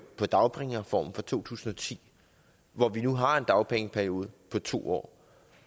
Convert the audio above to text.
på dagpengereformen fra to tusind og ti hvor vi nu har en dagpengeperiode på to år